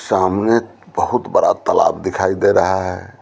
सामने बहुत बड़ा तालाब दिखाई दे रहा है।